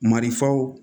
Marifaw